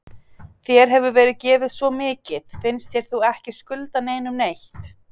Þér hefur verið gefið svo mikið, finnst þér þú ekki skulda neinum neitt?